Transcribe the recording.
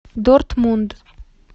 дортмунд